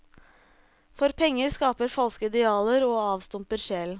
For penger skaper falske idealer og avstumper sjelen.